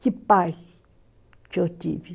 Que pai que eu tive.